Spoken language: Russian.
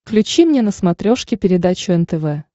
включи мне на смотрешке передачу нтв